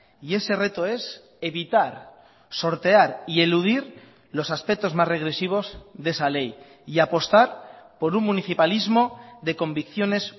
y ese reto es evitar sortear y eludir los aspectos más regresivos de esa ley y apostar por un municipalismo de convicciones